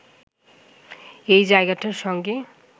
এই জায়গাটার সঙ্গে